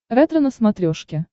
ретро на смотрешке